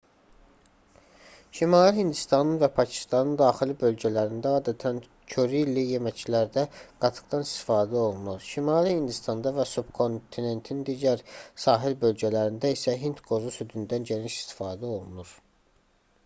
şimali hindistanın və pakistanın daxili bölgələrində adətən körili yeməklərdə qatıqdan istifadə olunur şimali hindistanda və subkontinentin digər sahil bölgələrində isə hindqozu südündən geniş istifadə olunur